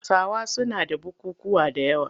Hausawa suna da bukukkuwa da yawa.